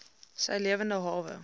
sy lewende hawe